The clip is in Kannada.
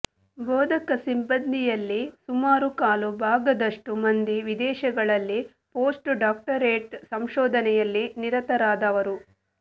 ಬೋಧಕ ಸಿಬ್ಬಂದಿಯಲ್ಲಿ ಸುಮಾರು ಕಾಲು ಭಾಗದಷ್ಟು ಮಂದಿ ವಿದೇಶಗಳಲ್ಲಿ ಪೋಸ್ಟ್ ಡಾಕ್ಟೊರೇಟ್ ಸಂಶೋಧನೆಯಲ್ಲಿ ನಿರತರಾದವರು